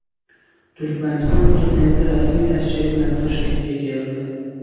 Turkmaniston prezidenti rasmiy tashrif bilan Toshkentga keldi.